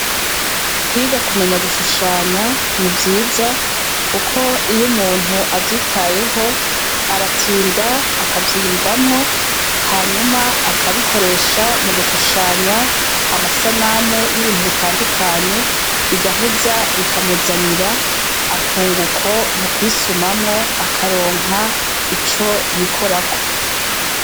Kwiga kumenya gushushanya nivyiza, kuko iyo umuntu avyitayeho aratinda akavyiyumvamwo hanyuma akabikoresha mu gushushanya amasanamu y'ibintu bitandukanye bigaheza bikamuzanira akunguko mu kwisa sumamwo akaronka ico yikorako.